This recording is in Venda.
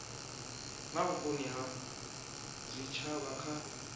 na vhukoni ha zwitshavha kha